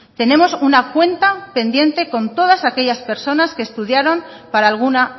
tenemos una cuenta pendiente con todas aquellas personas que estudiaron para alguna